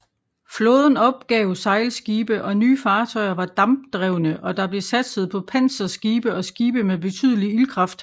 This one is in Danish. Flåden opgav sejlskibe og nye fartøjer var dampdrevne og der blev satset på panserskibe og skibe med betydelig ildkraft